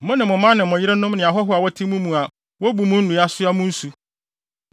mo ne mo mma ne mo yerenom ne ahɔho a wɔte mo mu a wobu mo nnua, soa mo nsu.